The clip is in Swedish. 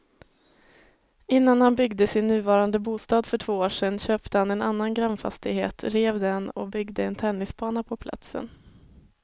Innan han byggde sin nuvarande bostad för två år sedan köpte han en annan grannfastighet, rev den och byggde en tennisbana på platsen.